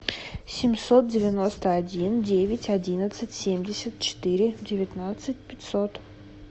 семьсот девяносто один девять одиннадцать семьдесят четыре девятнадцать пятьсот